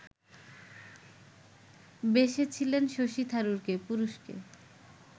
বেসেছিলেন শশী থারুরকে, পুরুষকে